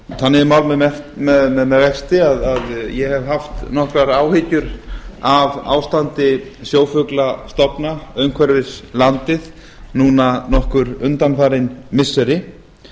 þannig er mál með vexti að ég hef haft nokkrar áhyggjur af ástandi sjófuglastofna umhverfis landið núna nokkur undanfarin missiri